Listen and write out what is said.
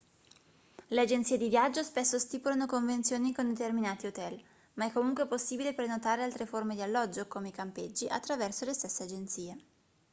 le agenzie di viaggio spesso stipulano convenzioni con determinati hotel ma è comunque possibile prenotare altre forme di alloggio come i campeggi attraverso le stesse agenzie